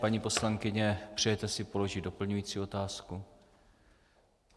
Paní poslankyně, přejete si položit doplňující otázku?